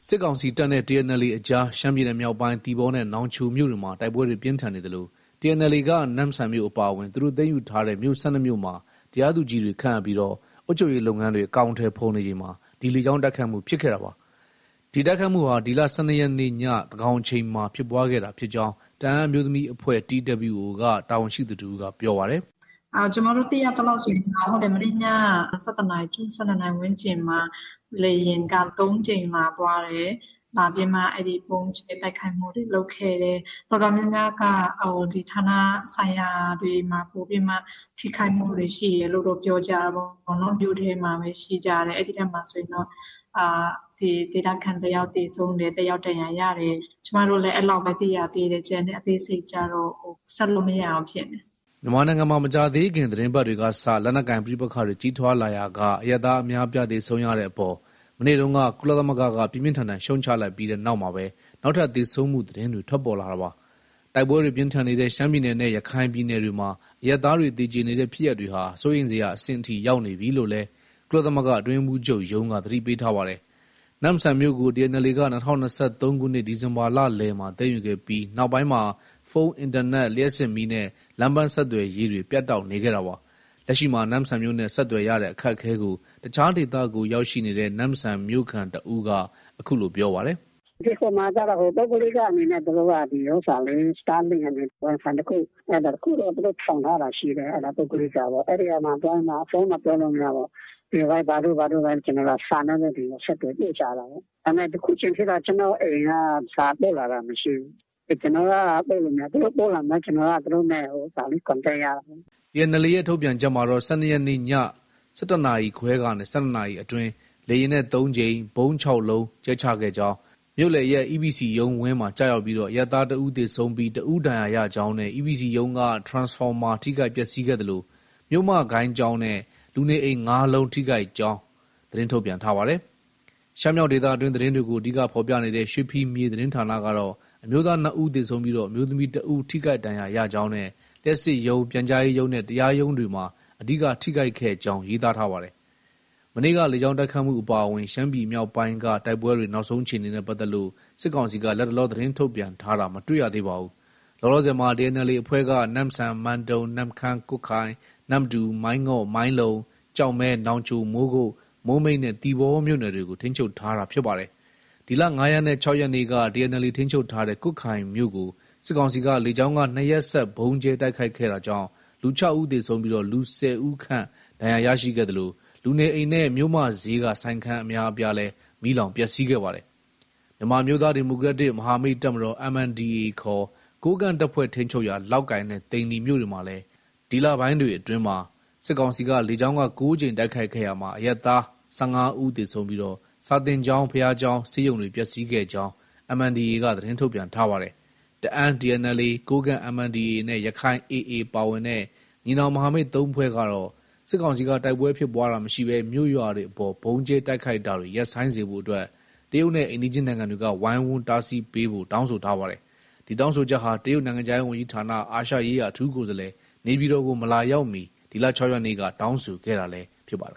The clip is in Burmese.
စစ်ကောင်စီတပ်နဲ့ TNLA အကြား ရှမ်းပြည်နယ်မြောက်ပိုင်း သီပေါနဲ့ နောင်ချိုမြို့တွေမှာ တိုက်ပွဲတွေ ပြင်းထန်နေသလို TNLA က နမ့်ဆန်မြို့ အပါအဝင် သူတို့ သိမ်းယူထားတဲ့ မြို့ ၁၂မြို့မှာ တရားသူကြီးတွေ ခန့်အပ်ပြီး အုပ်ချုပ်ရေးလုပ်ငန်းတွေ အကောင်အထည်ဖော်နေချိန်မှာ ဒီလေကြောင်းတိုက်ခိုက်မှု ဖြစ်ခဲ့တာပါ။ ဒီတိုက်ခိုက်မှုဟာ ဒီလ ၁၂ရက်နေ့ ညသန်းခေါင်အချိန်မှာဖြစ်ပွားခဲ့တာဖြစ်ကြောင်း တအန်းအမျိုးသမီးအဖွဲ့ TWO က တာဝန်ရှိသူတဦးက ပြောပါတယ်။ “ ကျမတို့ သိရသလောက် မနေ့ည ၁၁နာရီကျော် ၁၂နာရီဝန်းကျင်မှာ လေယာဉ်က ၃ကြိမ်လာ သွားတယ်။ လာပြီးမှ ဗုံးကြဲတိုက်ခိုက်မှုတွေ လုပ်ခဲ့တယ်။ တော်တော်များများက ဌာနဆိုင်ရာတွေမှာ ပိုပြီးတော့ ထိခိုက်မှုတွေ ရှိခဲ့တယ်လို့ ပြောကြတာပေါ့။ မြို့ထဲမှာပဲ ရှိကြတယ်။ အဲဒီထဲမှာတော့ ဒေသခံတယောက်သေဆုံးတယ်။ တယောက် ဒဏ်ရာရတယ်။ ကျမတို့လည်း အဲလောက်ပဲ သိရသေးတယ်။ ကျန်တဲ့အသေးစိတ်ကျတော့ ဆက်လို့ မရဘူးဖြစ်နေတယ်။” မြန်မာနိုင်ငံမှာ မကြာသေးခင် သီတင်းပတ်တွေကစ လက်နက်ကိုင် ပဋိပက္ခတွေ ကြီးထွားလာရာက အရပ်သားအများအပြား သေဆုံးရတဲ့အပေါ် မနေ့တုန်းက ကုလသမဂ္ဂက ပြင်းပြင်းထန်ထန် ရှုတ်ချလိုက်ပြီး နောက်မှာပဲ နောက်ထပ် သေဆုံးမှု သတင်းတွေ ထွက်ပေါ်လာတာပါ။ တိုက်ပွဲတွေ ပြင်းထန်နေတဲ့ ရှမ်းပြည်နယ်နဲ့ ရခိုင်ပြည်နယ်တွေမှာ အရပ်သားတွေ သေကျေနေတဲ့ ဖြစ်ရပ်တွေဟာ စိုးရိမ်စရာအဆင့်အထိ ရောက်နေပြီလို့လည်း ကုလသမဂ္ဂ အတွင်းရေးမှူးချုပ်ရုံးက သတိပေးထားပါတယ်။ နမ့်ဆန်မြို့ကို TNLA က ၂၀၂၃ခုနှစ် ဒီဇင်ဘာလလယ်မှာ သိမ်းယူခဲ့ပြီး နောက်ပိုင်းမှာ ဖုန်း၊ အင်တာနက်၊ လျှပ်စစ်မီးနဲ့ လမ်းပန်းဆက်သွယ်ရေးတွေ ပြတ်တောက်နေခဲ့တာပါ။ လက်ရှိမှာ နမ့်ဆန်မြို့နဲ့ ဆက်သွယ်ရတဲ့အခက်အခဲကို တခြားဒေသကို ရောက်ရှိနေတဲ့ နမ့်ဆန်မြို့ခံတဦးက အခုလို ပြောပါတယ်။ “ ဟိုမှာကျတော့ ပုဂ္ဂလိကအနေနဲ့ သူတို့က Star link အနေနဲ့ Wifi တခု အဲဒါတခုတော့ ထောင်ထားတာ ရှိတယ်။ ပုဂ္ဂလိကပေါ့။ အဲဒီမှာ သွားပြီးတော့မှ ဖုန်းတော့ ပြောလို့ မရဘူးပေါ့။ Viber တို့ ဘာတို့နဲ့ ကျနော်တို့က စာနဲ့ပဲ ဆက်သွယ် ပို့ကြတာပေါ့။ ဒါပေမဲ့ အခုချိန်ထိတော့ ကျနော့အိမ်က စာပို့လာတာ မရှိဘူး။ ကျနော်က ပို့လို့ မရဘူး။ သူတို့ဆက်လာမှာ ကျနော်က သူတို့ နဲ့ Contact ရတာလေ။ ” TNLA ရဲ့ ထုတ်ပြန်ချက်မှာတော့ ၁၂ရက်နေ့ည ၁၁နာရီခွဲကနေ ၁၂နာရီအတွင်း လေယာဉ်နဲ့ ၃ကြိမ်၊ ဗုံး ၆လုံးကြဲချခဲ့ကြောင်း၊ မြို့လယ်ရပ် EPC ရုံးဝန်းမှာကျရောက်ပြီး အရပ်သား ၁ဦးသေဆုံးပြီး တဦး ဒဏ်ရာရကြောင်းနဲ့ EPC ရုံးက ထရန်စဖော်မာထိခိုက်ပျက်ဆီးခဲ့သလို မြို့မဂိုဏ်းကျောင်းနဲ့ လူနေအိမ် ၅လုံးထိခိုက်ကြောင်း သတင်းထုတ်ပြန်ပါတယ်။ ရှမ်းမြောက်ဒေသတွင်းသတင်းတွေကို အဓိက ဖော်ပြနေတဲ့ ရွှေဖီမြေသတင်းဌာနကတော့ အမျိုးသား ၂ဦးသေဆုံးပြီး အမျိုးသမီး တဦးထိခိုက်ဒဏ်ရရကြောင်းနဲ့ လျှပ်စစ်ရုံး၊ ပြန်ကြာရေးရုံးနဲ့ တရားရုံးတွေမှာ အဓိက ထိခိုက်ခဲ့ကြောင်း ရေးသားပါတယ်။ မနေ့က လေကြောင်းတိုက်ခိုက်မှု အပါအဝင် ရှမ်းပြည်မြောက်ပိုင်းက တိုက်ပွဲတွေ နောက်ဆုံးအခြေအနေနဲ့ ပတ်သက်လို့ စစ်ကောင်စီက လတ်တလော သတင်းထုတ်ပြန်တာတော့ မတွေ့ရသေးပါဘူး။ လောလောဆယ်မှာ TNLA အဖွဲ့က နမ့်ဆန်၊ မန်တုံ၊ နမ့်ခမ်း၊ ကွတ်ခိုင်၊ နမ္မတူ၊ မိုင်းငေါ့၊ မိုင်းလုံ၊ ကျောက်မဲ၊ နောင်ချို၊ မိုးကုတ်၊ မိုးမိတ်နဲ့ သီပေါမြို့နယ်တွေကို ထိန်းချုပ်ထားတာ ဖြစ်ပါတယ်။ ဒီလ ၅ရက်နဲ့ ၆ရက်နေ့က TNLA ထိန်းချုပ်ထားတဲ့ ကွတ်ခိုင်မြို့ကို စစ်ကောင်စီက လေကြောင်းက ၂ရက်ဆက် ဗုံးကြဲတိုက်ခိုက်ခဲ့တာကြောင့် လူ ၆ဦးသေဆုံးပြီး လူ ၁၀ဦးခန့် ဒဏ်ရာရရှိခဲ့သလို လူနေအိမ်နဲ့ မြို့မဈေးက ဆိုင်ခန်းအများအပြားမီးလောင်ပျက်ဆီးခဲ့ပါတယ်။ မြန်မာအမျိုးသားဒီမိုကရက်တစ် မဟာမိတ်တပ်မတော် MNDAA ခေါ် ကိုးကန့်တပ်ဖွဲ့ထိန်းချုပ်ရာ လောက်ကိုင်နဲ့ သိန္နီမြို့တွေကိုလည်း ဒီလပိုင်းတွေအတွင်းမှာ စစ်ကောင်စီက လေကြောင်းက ၉ကြိမ်တိုက်ခိုက်ခဲ့ရာမှာ အရပ်သား အရပ်သား ၁၅ဦးသေဆုံးပြီး စာသင်ကျောင်း၊ ဘုရားကျောင်းနဲ့ ဆေးရုံတွေ ပျက်ဆီးခဲ့ကြောင်း MNDAA က သတင်းထုတ်ပြန်ထားပါတယ်။ တအန်း TNLA ၊ ကိုးကန့် MNDAA နဲ့ ရခိုင် AA ပါဝင်တဲ့ ညီနောင်မဟာမိတ် ၃ဖွဲ့ကတော့ စစ်ကောင်စီက တိုက်ပွဲဖြစ်ပွားတာမရှိဘဲ မြို့၊ရွာတွေအပေါ် ဗုံးကြဲတိုက်ခိုက်တာတွေ ရပ်ဆိုင်းစေဖို့အတွက် တရုတ်နိုင်ငံနဲ့ အိမ်နီးချင်းနိုင်ငံတွေက ဝိုင်းဝန်း တားဆီးပေးဖို့ တောင်းဆိုထားပါတယ်။ ဒီတောင်းဆိုချက်ဟာ တရုတ် နိုင်ငံခြားရေးဝန်ကြီးဌာန အာရှရေးရာ အထူးကိုယ်စားလှယ် နေပြည်တော်ကို မလာရောက်မီ ဒီလ ၆ရက်နေ့က တောင်းဆိုခဲ့တာလည်း ဖြစ်ပါတယ်